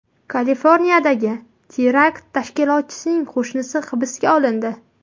Kaliforniyadagi terakt tashkilotchisining qo‘shnisi hibsga olindi.